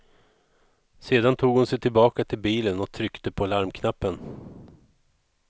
Sedan tog hon sig tillbaka till bilen och tryckte på larmknappen.